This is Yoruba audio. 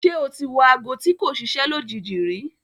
Ṣé o ti wọ aago tí kò ṣiṣẹ́ lójijì rí?